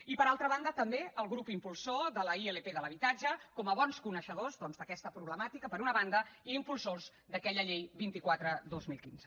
i per altra banda també el grup impulsor de la ilp de l’habitatge com a bons coneixedors doncs d’aquesta problemàtica per una banda i impulsors d’aquella llei vint quatre dos mil quinze